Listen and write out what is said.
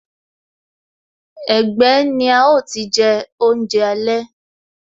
Ẹgbẹ́ ni a ó ti je oúnjẹ alẹ́